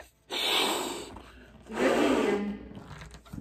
гобелен